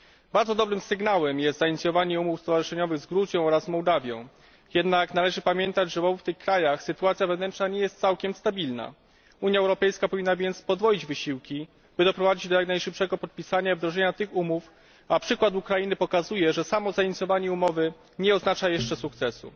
Bardzo dobrym sygnałem jest zainicjowanie umów stowarzyszeniowych z Gruzją oraz Mołdawią, jednak należy pamiętać, że w obu tych krajach sytuacja wewnętrzna nie jest całkiem stabilna. Unia Europejska powinna więc podwoić wysiłki, by doprowadzić do jak najszybszego podpisania i wdrożenia tych umów, a przykład Ukrainy pokazuje, że samo zainicjowanie umowy nie oznacza jeszcze sukcesu.